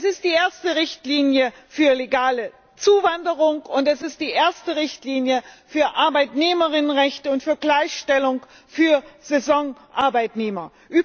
Es ist die erste Richtlinie für legale Zuwanderung und es ist die erste Richtlinie für ArbeitnehmerInnenrechte und für Gleichstellung von Saisonarbeitnehmern.